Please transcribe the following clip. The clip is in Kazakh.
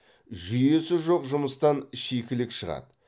жүйесі жоқ жұмыстан шикілік шығады